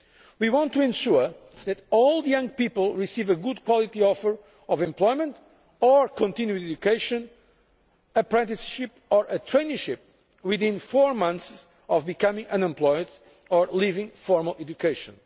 We want to ensure that all young people receive a good quality offer of employment or continued education, an apprenticeship or a traineeship within four months of becoming unemployed or leaving formal education.